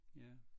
Ja